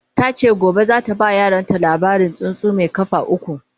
tace gobe zata ba yaran labarin tsuntsu Mai kafa ukwu